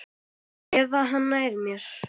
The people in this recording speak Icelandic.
Eða hann nær mér.